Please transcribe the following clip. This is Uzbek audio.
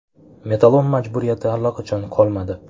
Metallolom majburiyati allaqachon qolmadi.